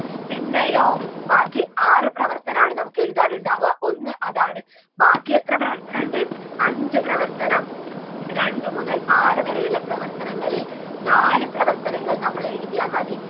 പിന്നെയോ ബാക്കി ആറ് പ്രവർത്തനാണ് നമുക്ക് എഴുതാനുണ്ടാവുക ഒന്ന് അതാണ് ബാക്കി എത്ര പ്രവർത്തനമുണ്ട് അഞ്ചു പ്രവർത്തനം രണ്ട് മുതൽ ആറ് വരെയുള്ള പ്രവർത്തനങ്ങളിൽ നാല് പ്രവർത്തനങ്ങൾ നമ്മൾ എഴുതിയാൽ മതി